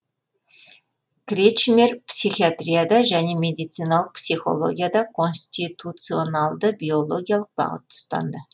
кречмер психиатрияда және медициналық психологияда конституционалды биологиялық бағытты ұстанды